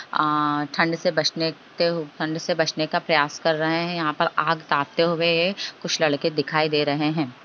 अअ ठंड से बचनेचते ठंड से बचने का प्रयास कर रहे है यहाँ पर आग तापते हुए कुछ लड़के दिखाई दे रहे हैं।